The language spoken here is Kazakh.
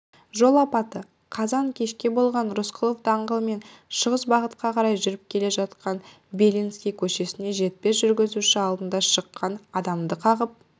жол апаты қазан кешке болған рысқұлов даңғылымен шығыс бағытқа қарай жүріп келе жатқан белинский көшесіне жетпей жүргізуші алдынан шыққан адамды қағып